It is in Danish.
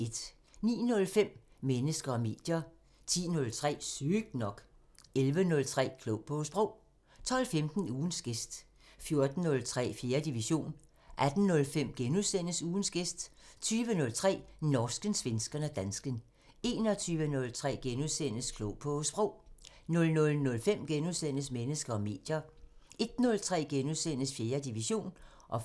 09:05: Mennesker og medier 10:03: Sygt nok 11:03: Klog på Sprog 12:15: Ugens gæst 14:03: 4. division 18:05: Ugens gæst * 20:03: Norsken, svensken og dansken 21:03: Klog på Sprog * 00:05: Mennesker og medier * 01:03: 4. division *